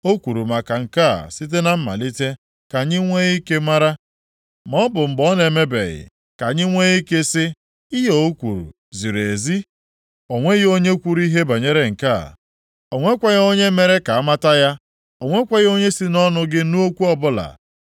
O kwuru maka nke a site na mmalite, ka anyị nwee ike mara, maọbụ mgbe na o mebeghị, ka anyị nwee ike sị, ‘Ihe o kwuru ziri ezi’? O nweghị onye kwuru ihe banyere nke a, o nweghịkwa onye mere ka amata ya, o nwekwaghị onye si nʼọnụ gị nụ okwu ọbụla.